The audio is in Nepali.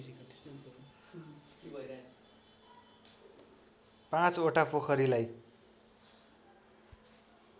पाँचवटा पोखरीलाई